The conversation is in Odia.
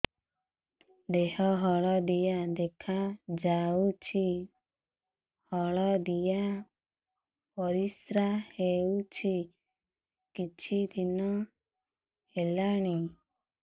ଦେହ ହଳଦିଆ ଦେଖାଯାଉଛି ହଳଦିଆ ପରିଶ୍ରା ହେଉଛି କିଛିଦିନ ହେଲାଣି